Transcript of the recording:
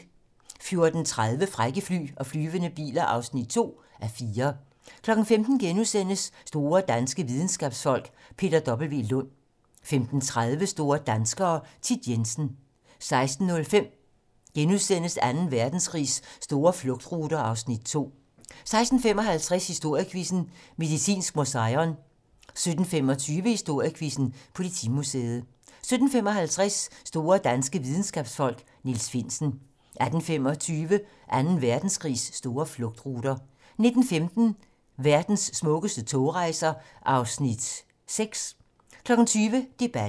14:30: Frække fly og flyvende biler (2:4) 15:00: Store danske videnskabsfolk: Peter W. Lund * 15:30: Store danskere - Thit Jensen 16:05: Anden Verdenskrigs store flugtruter (Afs. 2)* 16:55: Historiequizzen: Medicinsk Museion 17:25: Historiequizzen: Politimuseet 17:55: Store danske videnskabsfolk: Niels Finsen 18:25: Anden Verdenskrigs store flugtruter 19:15: Verdens smukkeste togrejser (Afs. 6) 20:00: Debatten